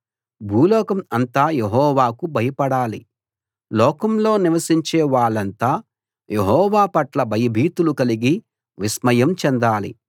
భూలోకం అంతా యెహోవాకు భయపడాలి లోకంలో నివసించే వాళ్ళంతా యెహోవా పట్ల భయభీతులు కలిగి విస్మయం చెందాలి